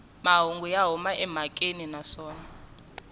mahungu ya huma emhakeni naswona